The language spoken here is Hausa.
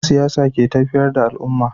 Dan siyasa ke tafiyar da al'umma